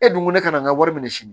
E dun ko ne kana n ka wari minɛ sini